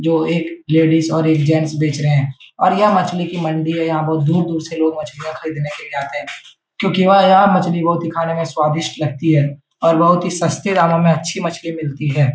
जो एक लेडीज और एक जेंट्स बेच रहे हैं और यह मछली की मंडी है यहाँ बहुत दूर-दूर से लोग मछलियाँ ख़रीदने के लिए आते हैं क्योंकि यह मछली बहुत ही खाने में स्वादिष्ट लगती है और बहुत ही सस्ते दामों में अच्छी मछली मिलती है ।